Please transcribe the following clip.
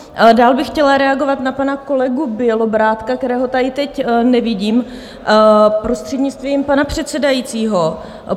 Dál bych chtěla reagovat na pana kolegu Bělobrádka, kterého tady teď nevidím, prostřednictvím pana předsedajícího.